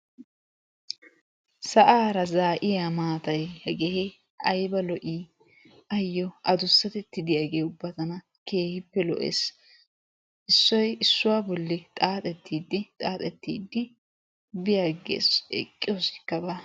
Sa'ara zaa'iya maatay hege aybba lo'i! ayyo addussatetta de'iyaa hege tana aybba lo'i! issuoy issuwa bolli xaaxidi xaaxetid bi agees, eqqiyossika ba.